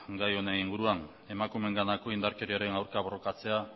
gai honen inguruan emakumeenganako indarkeriaren aurka borrokatzea